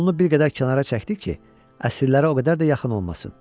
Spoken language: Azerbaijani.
yolunu bir qədər kənara çəkdi ki, əsirlərə o qədər də yaxın olmasın.